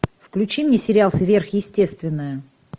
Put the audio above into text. включи мне сериал сверхъестественное